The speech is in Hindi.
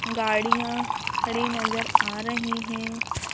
गाड़ियाँ खड़ी नजर आ रही हैं।